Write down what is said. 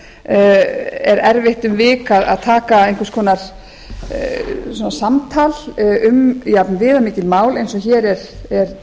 þá er erfitt um vik að taka einhvers konar samtal um jafnviðamikið mál eins og hér er